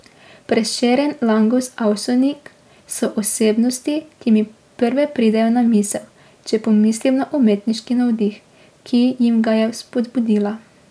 Prešeren, Langus, Avsenik so osebnosti, ki mi prve pridejo na misel, če pomislim na umetniški navdih, ki jim ga je vzpodbudila.